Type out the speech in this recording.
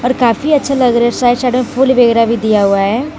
काफी अच्छा लग रहा है साइड साइड में फूल वगैरा भी दिया हुआ है।